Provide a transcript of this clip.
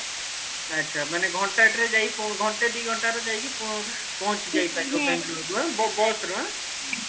ଆଛା ମାନେ ଘଣ୍ଟାଟେରେ ଯାଇକି ପ ଘଣ୍ଟେ ଦିଘଣ୍ଟା ରେ ଯାଇକି ପ ପହଞ୍ଚି ଯାଇ ପାରିବା ବେଙ୍ଗେଲୋର ରୁ ଆଁ ବ ବ bus ରେ ଆଁ